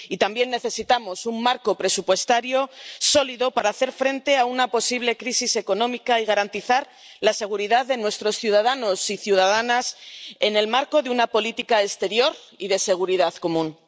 Y también necesitamos un marco presupuestario sólido para hacer frente a una posible crisis económica, y garantizar la seguridad de nuestros ciudadanos y ciudadanas en el marco de una política exterior y de seguridad común.